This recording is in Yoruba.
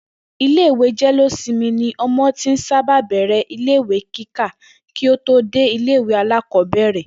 Ilé ìwé jé̩-lé-simi ni o̩mo̩ ti sábà ń bè̩rè̩ ìwé kíkà kí ó tó wo̩ ilé ìwé alákò̩ó̩bèrè̩